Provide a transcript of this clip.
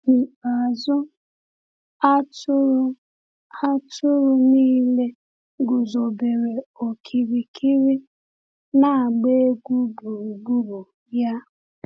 N’ikpeazụ, atụrụ atụrụ niile guzobere okirikiri, na-agba egwu gburugburu ya.